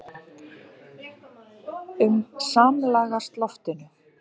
um samlagast loftinu.